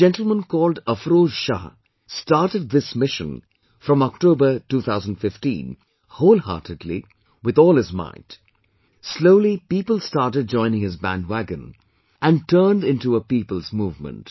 A gentleman called Afroz Shah started this mission from October, 2015 whole heartedly with all his might, slowly people started joining his bandwagon and turned into a people's movement